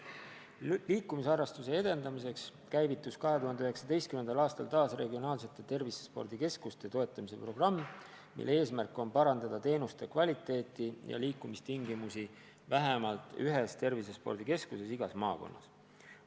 Liikumisharrastuse edendamiseks käivitus 2019. aastal taas regionaalsete tervisespordikeskuste toetamise programm, mille eesmärk on parandada teenuste kvaliteeti ja liikumistingimusi vähemalt ühes tervisespordikeskuses igas maakonnas.